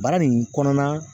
Baara nin kɔnɔna